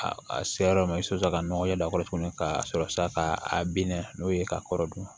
A a se yɔrɔ ma i bɛ sɔrɔ ka nɔgɔ yɛlɛ a kɔrɔ tuguni ka sɔrɔ sa ka a bina n'o ye k'a kɔrɔdɔn